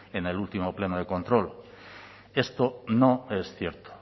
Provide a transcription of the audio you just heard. en el último pleno de control esto no es cierto